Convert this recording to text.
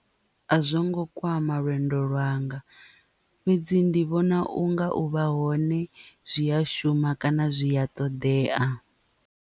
A zwo ngo kwama lwendo lwanga fhedzi ndi vhona u nga u vha hone zwi a shuma kana zwi a ṱoḓea.